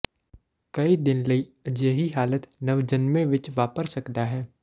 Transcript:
ਕਈ ਦਿਨ ਲਈ ਅਜਿਹੀ ਹਾਲਤ ਨਵਜੰਮੇ ਵਿੱਚ ਵਾਪਰ ਸਕਦਾ ਹੈ